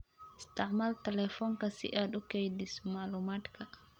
Isticmaal telefoonka si aad u kaydiso macluumaadka.